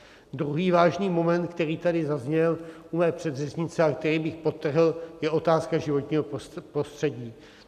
Druhý vážný moment, který tady zazněl u mé předřečnice a který bych podtrhl, je otázka životního prostředí.